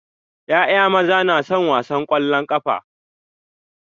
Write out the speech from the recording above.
ƴaƴa maza na son wasan kwallon kafa.